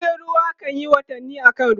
jirgin ruwa kanyi watanni a kan ruwa